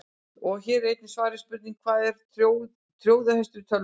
Hér var einnig svarað spurningunni: Hvað er trójuhestur í tölvum?